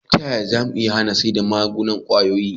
Ta yaya zamu hana sayar da miyagun kwayoyi